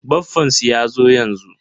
Baffansu yazo yanzu.